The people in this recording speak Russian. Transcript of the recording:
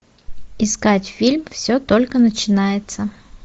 искать фильм все только начинается